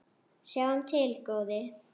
Sjáum til, góði.